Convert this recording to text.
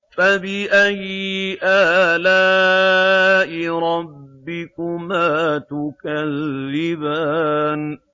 فَبِأَيِّ آلَاءِ رَبِّكُمَا تُكَذِّبَانِ